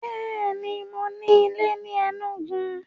Bẹ́ẹ̀ni, mo ní ilé ni Enugu?